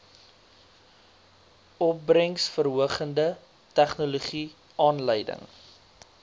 opbrengsverhogende tegnologie aanleiding